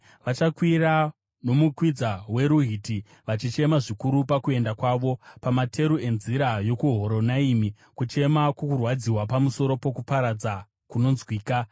Vachakwira nomukwidza weRuhiti, vachichema zvikuru pakuenda kwavo; pamateru enzira yokuHoronaimi kuchema kwokurwadziwa pamusoro pokuparadza kunonzwika.